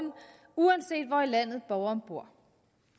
uanset hvor i landet borgerne bor